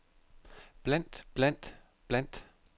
blandt blandt blandt